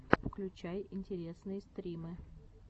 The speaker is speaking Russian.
включай интересные стримы